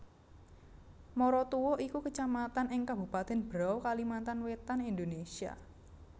Maratua iku Kecamatan ing Kabupatèn Berau Kalimantan Wétan Indonesia